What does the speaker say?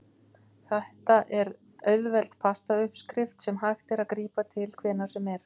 Þetta er auðveld pasta uppskrift sem hægt er að grípa til hvenær sem er.